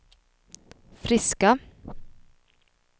friska